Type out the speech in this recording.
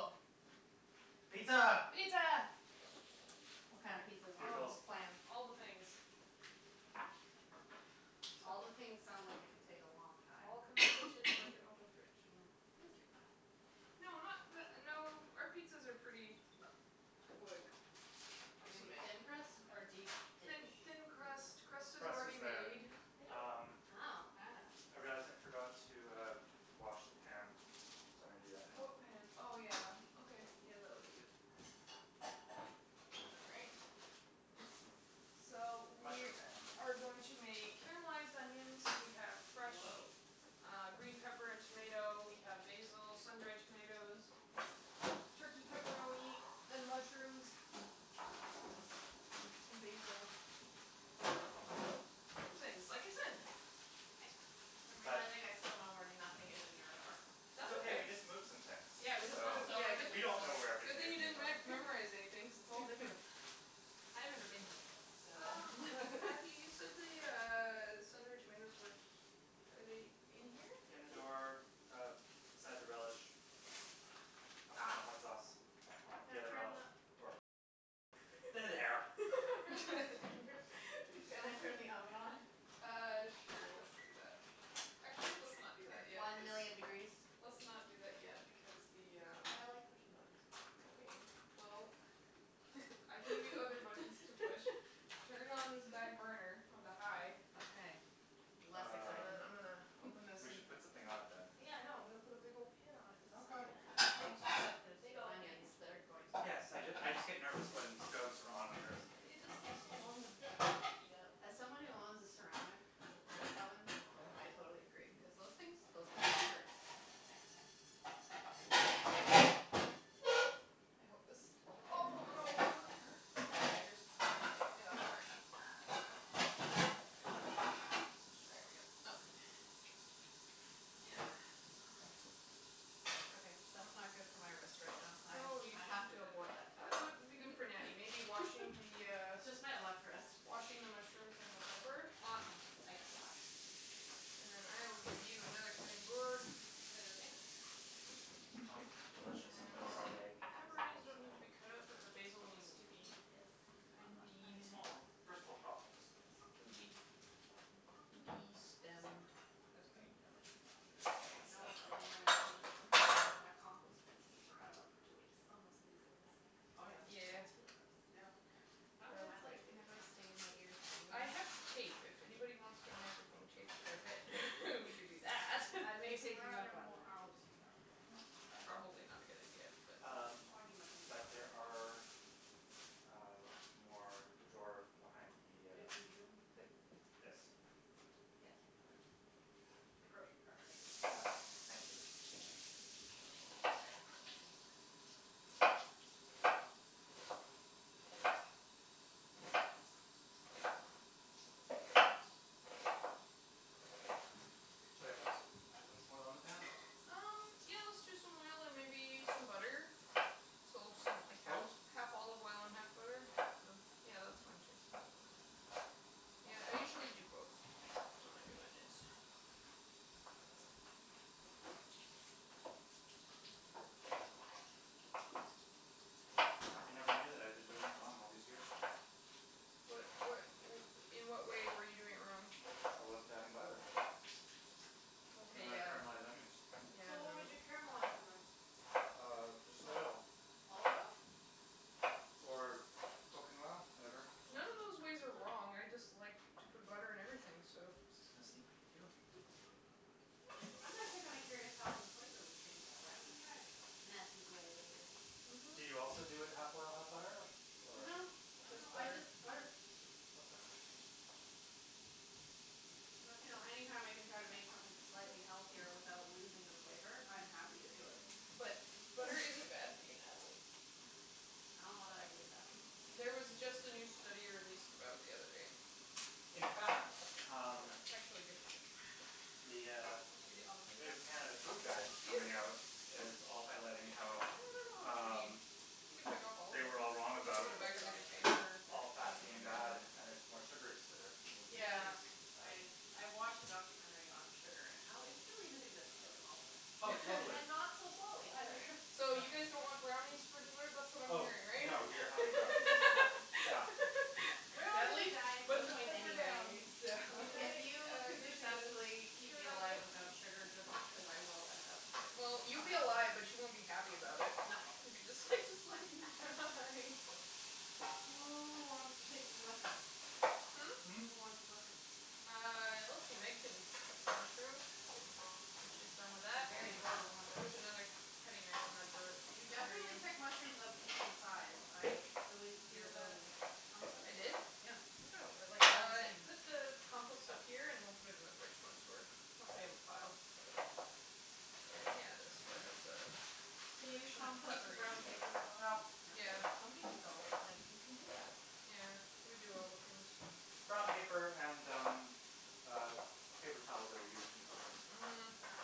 Cool. Pizza. Pizza. What kind of pizza do we want to Oh. Bugles. plan? All the things. All the things sounds like it could take a long All time. come in the kitchen. It's like an open fridge. Mm. Thank you. No, not the no, our pizzas are pretty quick Is it going to to be make. thin crust or deep Thin dish? thin crust. Crust is Crust already is better. made. Uh. Wow. I see. Hey, Jas, I forgot to uh wash the pan, so I'm going to do that now. What pan? Oh, yeah. Okay, yeah, that would be good. All right. So, The we mushroom pan. are going to make caramelized onions. We have fresh Whoah. uh green pepper and tomato. We have basil, sun dried tomatoes. Turkey pepperoni, and mushrooms. And basil. All things, like I said. I'm realizing I still know where nothing is in your apartment. It's That's okay. We okay. just moved some things. Yeah, we just So moved. Yeah, did we don't know where we Good everything thing is you in the didn't re- apartment. memorize anything because it's all different. I've never been here before, so Matthew, you said the uh sun dried tomatoes were he- Are they in here? In the door, uh, beside the relish. Behind the Ah. hot sauce. The Can I other turn relish. the Or pickle. There they are. Thank you. Can I turn the oven on? Uh, sure, let's do that. Actually, let's not do that yet One cuz million degrees. Let's not do that yet because the um But I like pushing buttons. Okay, well, I can give you other buttons to push. Turn on this back burner onto high. Okay, less Um exciting. I'm gonna open this we and should put um something on it, then. Yeah, I know. I'm going to put a big old pan on it in Okay. a second. I think she said there's Big old pan. onions that are going to Yes, so I just I just get nervous when stoves are on and there isn't It anything just on takes so long to them. heat up. As someone who owns a ceramic oven, Yeah. I totally agree cuz those things those things can hurt. I hope this awful noise doesn't hurt anybody's ears. If it did, I'm sorry. There we go. Okay. Yeah. Okay, that's not good for my wrist right now. I I have to abort that What task. would be good for Natty? Maybe washing the uh Just my left wrist. Washing the mushrooms and the pepper? Awesome, I can wash. And then I will give you another cutting board. Is that okay? Omelettes are delicious, but dried egg is Pepperoni doesn't need to be cut up, but the basil needs to be. Mm, yes, not fun. Funny It's funny small small first world problems. Yes. Can be It's destemmed. it's like to know this egg You know stuck what's up really annoying to me? That compost bin that you forgot about for two weeks. Oh, yeah. Yeah yeah yeah That's really gross. Yeah. Yeah. That was Headphones my life like the other day. never stay in my ears I anyway. have tape. If anyone wants their microphone taped to their head, we could do that. I'm gonna take Where are you there up on more that. I'll just use that one, just to dry it off. Probably not a good idea but Um Soggy mushrooms but aren't. there are, uh, more in the drawer behind the uh If we need them. The this Yes. Yeah. The grocery cart thingy. Yeah, thank you. Should I put some should I put some more oil on the pan? Um, yeah, let's do some oil and maybe some butter. So something like half Both? half olive oil and half butter. Or yeah that's fine too. Yeah, I usually do both when I do onions. I never knew that I've been doing it wrong all these years. What what In what way were you doing it wrong? I wasn't adding butter. Okay When I yeah caramelize onions. So what would you Yeah caramelize them in? Um, Just just like oil. olive oil? Or cooking oil, whatever. Mm. None of those ways are wrong. Mm. I just like to put butter in everything, so I'm just gonna sneak thank you. I'm actually kinda curious how the flavor would change that way. I'm gonna try it. Matthew's way Do you also do it half oil, half butter or? No, no, Just I butter. just butter. Okay. But, you know, any time I can try to make something slightly healthier without losing the flavor, I'm happy to do it. But butter isn't bad for you, Natalie. I don't know that I believe that. There was just a new study released about it the other day. In fact, um, It's actually good for you. the uh new Canada Food Guide coming out is also highlighting I how don't know how much we need. um You can pick off all of they were all I think them. I'm wrong We'll just about put them gonna back in do all the of it. container all or put fat them being bad and it's more sugars that are being Yeah, introduced. I I watched a documentary on sugar and how it's really the thing that's killing all of us. Oh, totally. And not so slowly either. So you guys don't want brownies for dessert? That's what I'm Oh, hearing, right? no, we are having brownies. Yeah. We're all going to be on Natalie, a diet at put some the point pepper down. anyway, so. If you I'll could get you successfully keep me alive to without sugar, good luck because I will end up Well, you'll coming be after alive, but you. you won't be happy about it. No. Who wants to take these mushrooms? Hmm? Hmm? Who wants mushrooms? Uh, let's see, Meg can cut some mushrooms. When she's done with They're that. very adorable There's mushrooms. another k- cutting knife in that drawer You under definitely you. pick mushrooms of an even size. I salute your Peanut ability. I did? butter Yeah. Look at them. They're like all the Uh same. put the compost up Oh. here and we'll put it in the fridge once we once we have a pile. Yeah, that's Can you compost the brown paper as Well, well? yeah. Some people don't. It's like, you can do that. Yeah. We do all the things. Brown paper and, um, paper uh towels that are used in cooking. Mhm. Yeah.